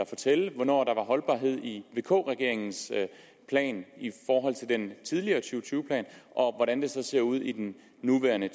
fortælle hvornår der var holdbarhed i vk regeringens plan den tidligere to tyve plan og hvordan det så ser ud i den nuværende